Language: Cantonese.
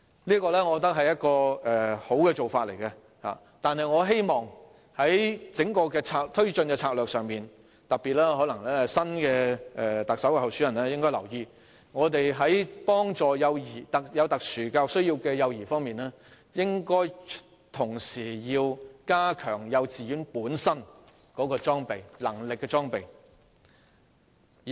我覺得這是良好的做法，但我希望在推進整項策略時——可能特首候選人應該特別留意——為有特殊教育需要的幼兒提供協助時，應同時加強幼稚園本身的裝備，以提升幼稚園的能力。